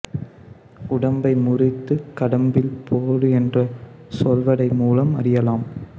உடம்பை முறித்து கடம்பில் போடு என்ற சொலவடை மூலம் அறியலாம்